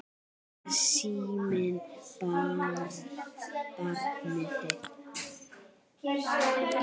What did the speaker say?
Er síminn barnið þitt?